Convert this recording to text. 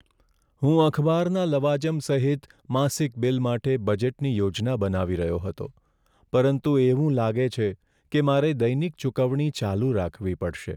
હું અખબારના લવાજમ સહિત માસિક બિલ માટે બજેટની યોજના બનાવી રહ્યો હતો, પરંતુ એવું લાગે છે કે મારે દૈનિક ચુકવણી ચાલુ રાખવી પડશે.